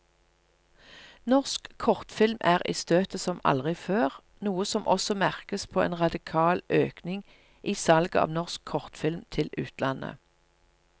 Norsk kortfilm er i støtet som aldri før, noe som også merkes på en radikal økning i salget av norsk kortfilm til utlandet.